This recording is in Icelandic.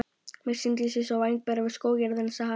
Mér sýndist ég sjá væng bera við skógarjaðarinn sagði Haraldur.